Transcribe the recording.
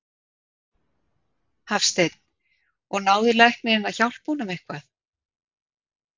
Hafsteinn: Og náði læknirinn að hjálpa honum eitthvað?